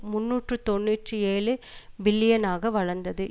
முன்னூற்று தொன்னூற்றி ஏழு பில்லியனாக வளர்ந்தது